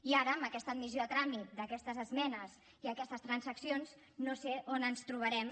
i ara amb aquesta admissió a tràmit d’aquestes esmenes i aquestes transaccions no sé on ens trobarem